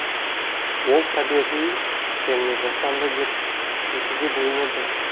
ол табиғи және жасанды деп екіге бөлінеді